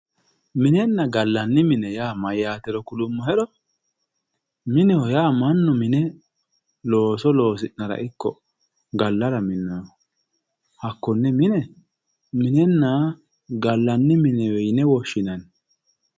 minenna gallanni mine yaa mayyaatero kulummoheha mineho yaa mannu looso loosi'nara ikkiro mannu gallara minnoonniho hakkonne mine minenna gallanni mine yinewe woshshinanni.